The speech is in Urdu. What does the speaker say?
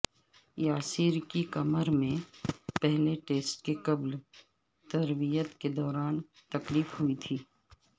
یاسر کی کمر میں پہلے ٹیسٹ کے قبل تربیت کے دوران تکلیف ہوئی تھی